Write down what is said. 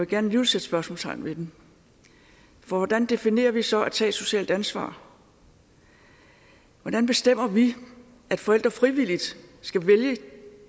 gerne sætte spørgsmålstegn ved det for hvordan definerer vi så det at tage et socialt ansvar hvordan bestemmer vi at forældre frivilligt skal vælge